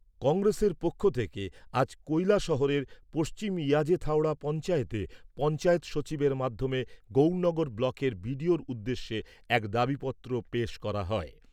কংগ্রেসের পক্ষ থেকে আজ কৈলাসহরের পশ্চিম ইয়াজেথাওড়া পঞ্চায়েতে পঞ্চায়েত সচিবের মাধ্যমে গৌরনগর ব্লকের বিডিওর উদ্দেশ্যে এক দাবিপত্র পেশ করা হয়।